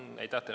Aitäh teile!